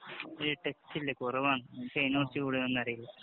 വലിയ ടച്ചില്ല. കുറവാണ്. എനിക്ക് അതിനെഅറിയില്ല.